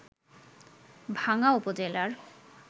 ভাংগা উপজেলার